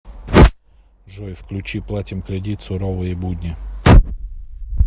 джой включи платим кредит суровые будни